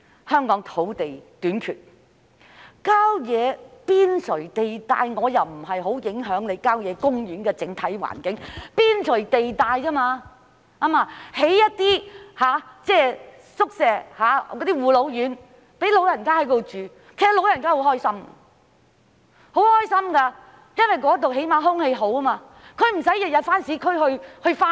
香港土地短缺，郊野邊陲地帶發展對郊野公園的整體環境不會有太大影響，只是在邊陲地帶興建一些宿舍、護老院供長者入住，他們會很開心，因為那裏空氣好，他們又不用每天到市區上班。